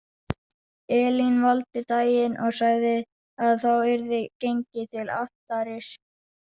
Elín valdi daginn og sagði að þá yrði gengið til altaris.